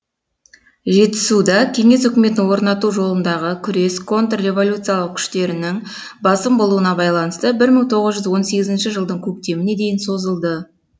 жетісуда кеңес үкіметін орнату жолындағы күрес контрреволюциялық күштерінің басым болуына байланысты бір мың тоғыз жүз он сегізінші жылдың көктеміне дейін созылды